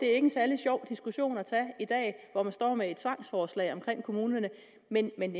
er en særlig sjov diskussion at tage i dag hvor man står med et tvangsforslag om kommunerne men men